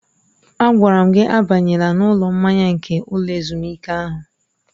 Agwara m gị abanyela n'ụlọ mmanya nke ụlọ ezumike ahụ!